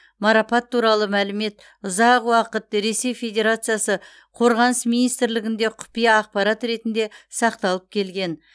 марапат туралы мәлімет ұзақ уақыт ресей федерациясы қорғаныс министрлігінде құпия ақпарат ретінде сақталып келген